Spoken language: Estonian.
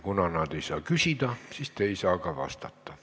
Kuna nad ei saa küsida, siis te ei saa ka vastata.